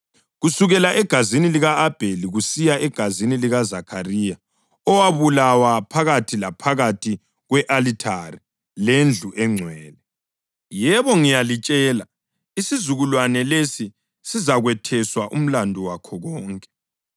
kusukela egazini lika-Abheli kusiya egazini likaZakhariya owabulawa phakathi laphakathi kwe-alithari lendlu engcwele. Yebo, ngiyalitshela, isizukulwane lesi sizakwetheswa umlandu wakho konke.